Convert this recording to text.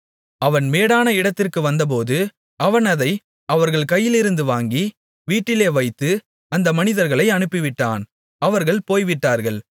அவன் மேடான இடத்திற்கு வந்தபோது அவன் அதை அவர்கள் கையிலிருந்து வாங்கி வீட்டிலே வைத்து அந்த மனிதர்களை அனுப்பிவிட்டான் அவர்கள் போய்விட்டார்கள்